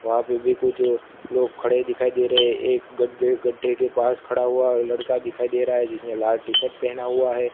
वहां पे भी कुछ लोग खड़े दिखाई दे रहे हैं एक गड्ढे गड्ढे के पास खड़ा हुआ लड़का दिखाई दे रहा है जिसने लाल टी शर्ट पहना हुआ है।